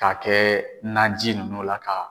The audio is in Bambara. K'a kɛ naji ninnu la k'a